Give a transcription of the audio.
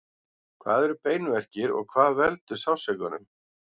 hvað eru beinverkir og hvað veldur sársaukanum